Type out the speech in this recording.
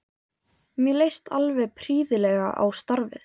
Mér leist alveg prýðilega á starfið.